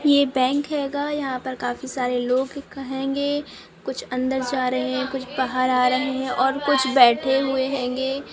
ये बैंक है यहां पे काफी सारे लोग कहेंग कुछ अंदर जा रहे है कुछ बाहर आ रहे है और कुछ बैठे हुए हेंग